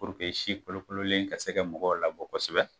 si kolokololen kɛ se kɛ mɔgɔw labɔ kosɛbɛ.